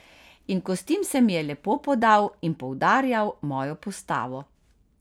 In kostim se mi je lepo podal in poudarjal mojo postavo.